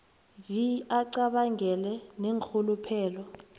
vi acabangele neenrhuluphelo